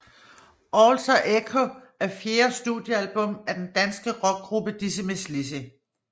Alter Echo er fjerde studiealbum af den danske rockgruppe Dizzy Mizz Lizzy